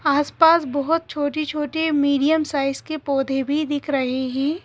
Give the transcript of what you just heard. आसपास बहुत छोटे-छोटे मीडियम साइज के पौधे भी दिख रहे हैं।